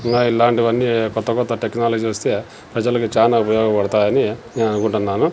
ఇంకా ఇలాంటివన్నీ కొత్త కొత్త టెక్నాలజీ వస్తే ప్రజలకు చానా ఉపయోగపడతాయని నేను అనుకుంటున్నాను.